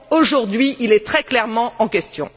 Aujourd'hui, il est très clairement en question.